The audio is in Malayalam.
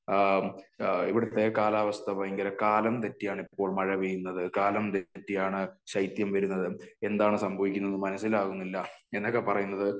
ആ ഇവിടത്തെ കാലാവസ്ഥ ഭയങ്കര കാലം തെറ്റിയാണ് ഇപ്പോൾ മഴ പെയ്യുന്നത്, കാലം തെറ്റിയാണ് ശൈത്യം വരുന്നത് എന്താണ് സംഭവിക്കുന്നത് മനസ്സിലാകുന്നില്ല. എന്നൊക്കെ പറയുന്നത്